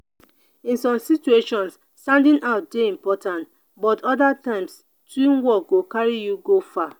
in some situations standing out dey important but other times teamwork go carry you far.